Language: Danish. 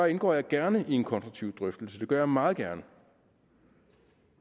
indgår jeg gerne i en konstruktiv drøftelse det gør jeg meget gerne